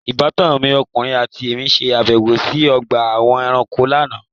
Ìbátan mi ọkùnrin àti èmí ṣe àbẹ̀wò sí ọgbà àwọn ẹranko lánàá.